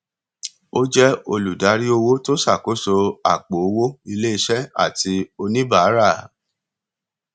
ó jẹ olùdarí owó tó ṣàkóso àpò owó iléiṣẹ àti oníbàárà